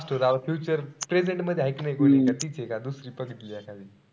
future present मध्ये हाय कि नाई कोणी? कि तिचे का दुसरी बघितली आता?